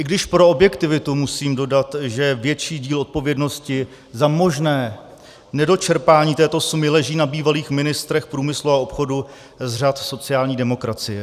I když pro objektivitu musím dodat, že větší díl odpovědnosti za možné nedočerpání této sumy leží na bývalých ministrech průmyslu a obchodu z řad sociální demokracie.